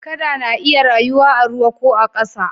Kada na iya rayuwa a ruwa ko a ƙasa